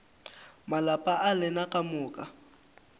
malapa a lena ka moka